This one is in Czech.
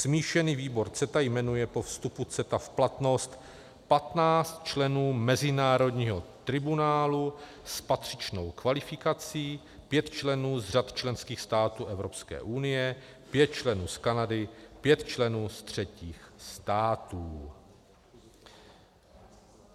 Smíšený výbor CETA jmenuje po vstupu CETA v platnost 15 členů mezinárodního tribunálu s patřičnou kvalifikací, 5 členů z řad členských států Evropské unie, 5 členů z Kanady, 5 členů z třetích států.